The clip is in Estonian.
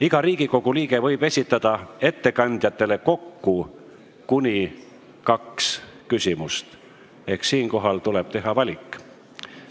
Iga Riigikogu liige võib ettekandjatele esitada kokku kuni kaks küsimust ehk siinkohal tuleb teha valik.